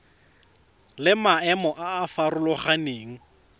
le maemo a a farologaneng